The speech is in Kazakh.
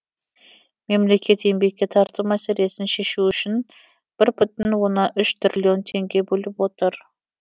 мемлекет еңбекке тарту мәселесін шешу үшін бір бүтін оннан үш триллион теңге бөліп отыр